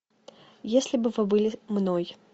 если бы вы были мной